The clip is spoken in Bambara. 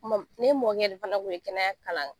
N mɔm , ne mɔkɛ de fana kun ye kɛnɛya kalan